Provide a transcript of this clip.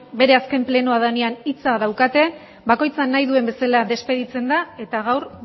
bere azken plenoa denean hitza daukate bakoitza nahi duen bezala despeditzen da eta gaur